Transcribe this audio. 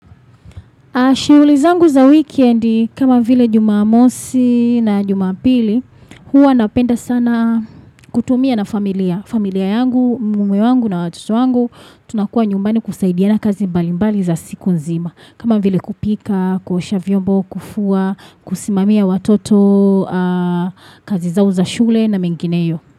Shiulizangu za weekendi kama vile juma mosi na juma pili huwa napenda sana kutumia na familia. Familia yangu, mume wangu na watoto wangu tunakua nyumbani kusaidiana kazi mbalimbali za siku nzima. Kama vile kupika, kuosha vyombo, kufua, kusimamia watoto, kazi zao za shule na mengineyo.